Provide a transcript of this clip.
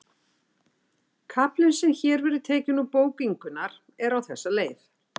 Kaflinn sem hér verður tekinn úr bók Ingunnar er á þessa leið